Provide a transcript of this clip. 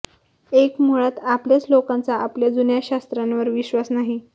एक मुळात आपल्याच लोकांचा आपल्या जुन्या शास्त्रांवर विश्वास नाही